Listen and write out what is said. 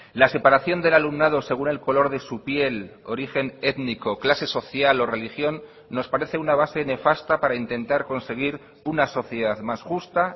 la separación del alumnado según el color de su piel origen étnico clase social o religión nos parece una base nefasta para intentar conseguir una sociedad más justa